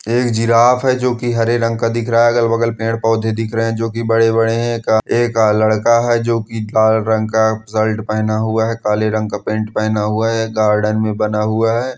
ये एक जिराफ है जो की हरे रंग दिख रहा है अगल बगल पेड़ पौधे दिख रहे है जो की बड़े बड़े है एक लड़का लाल रंग का शर्ट पहना हुआ है काला रंग का पैंट पहना हुआ है गार्डन में बना हुआ है|